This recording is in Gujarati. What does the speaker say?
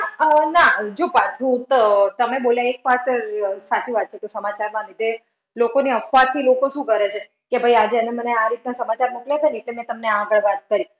અમ ના. જો પાછું તો તમે બોલ્યા એ એક વાત સાચી વાત છે કે સમાચારના લીધે લોકોને અફવાથી લોકો શું કરે છે? કે ભાઈ આજે એને મને આ રીતના સમાચાર મોકલા છે જે મેં તમને આગળ વાત કરી.